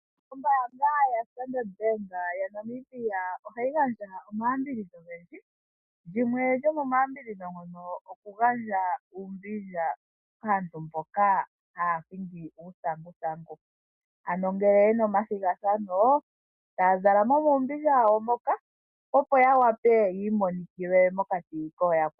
Ombaanga yaStandard Bank ohayi gandja omaya mbidhidho ogendji. Lyimwe lyo moma yambidhidho ndono okugandja uumbilya kaantu mboka haya hingi uuthanguthangu ano ngele yena omathigathano taya zala mo muumbilya wawo moka opo ya wape yiimonikile mokati kooyakwa wo.